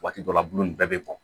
Waati dɔ la bulu nin bɛɛ bɛ bɔn